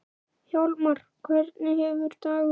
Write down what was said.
Hjálmar, hvernig hefur dagurinn verið?